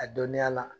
A dɔnniya la